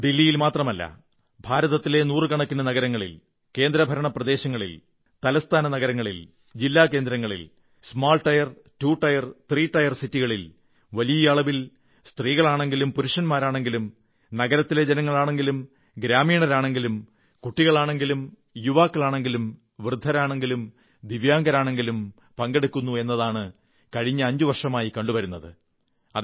ദില്ലിയിൽ മാത്രമല്ല ഭാരതത്തിലെ നൂറുകണക്കിന് നഗരങ്ങളിൽ കേന്ദ്രഭരണ പ്രദേശങ്ങളിൽ തലസ്ഥാനങ്ങളിൽ ജില്ലാ കേന്ദ്രങ്ങളിൽ ചെറിയ ടയർ ടു ടയർ ത്രീ നഗരങ്ങളിൽ വലിയ അളവിൽ സ്ത്രീകളാണെങ്കിലും പുരുഷന്മാരാണെങ്കിലും നഗരത്തിലെ ജനങ്ങളാണെങ്കിലും ഗ്രാമീണരാണെങ്കിലും കുട്ടികളാണെങ്കിലും യുവാക്കളാണെങ്കിലും വൃദ്ധരാണെങ്കിലും ദിവ്യാംഗരാണെങ്കിലും പങ്കെടുക്കുന്നു എന്നതാണ് കഴിഞ്ഞ അഞ്ചു വർഷങ്ങളായി കണ്ടു വരുന്നത്